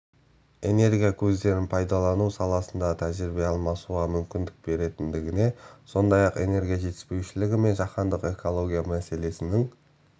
энергия көздерін пайдалану саласындағы тәжірибе алмасуға мүмкіндік беретіндігіне сондай-ақ энергия жетіспеушілігі мен жаһандық экология мәселесінің